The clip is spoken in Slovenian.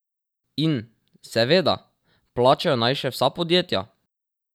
In, seveda, plačajo naj še vsa podjetja!